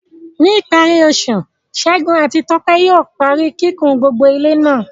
Ní ìparí oṣù, Segun àti Tope yóò parí kíkùn gbogbo ilé náà.